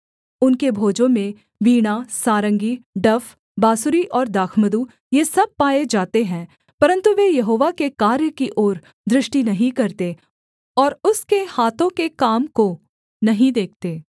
उनके भोजों में वीणा सारंगी डफ बाँसुरी और दाखमधु ये सब पाये जाते हैं परन्तु वे यहोवा के कार्य की ओर दृष्टि नहीं करते और उसके हाथों के काम को नहीं देखते